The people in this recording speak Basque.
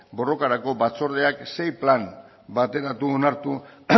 borrokarako batzordeak sei plan bateratu onartu